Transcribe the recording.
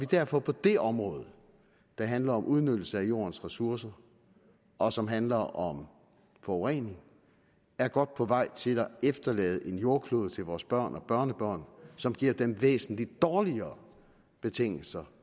derfor på det område der handler om udnyttelse af jordens ressourcer og som handler om forurening godt på vej til at efterlade en jordklode til vores børn og børnebørn som giver dem væsentlig dårligere betingelser